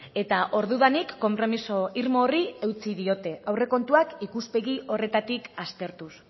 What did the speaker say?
eta ordudanik konpromiso irmo horri eutsi diote aurrekontuak ikuspegi horretatik aztertuz